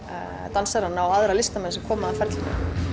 dansarana og aðra listamenn sem koma að ferlinu